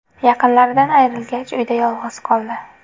Yaqinlaridan ayrilgach, uyda yolg‘iz qoldi.